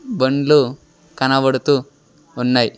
బండ్లు కనబడుతూ ఉన్నయ్.